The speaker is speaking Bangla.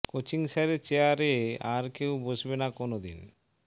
কোচিং স্যারের চেয়ারে আর কেউ বসবে না কোনও দিন